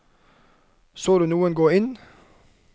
Så du noen gå inn?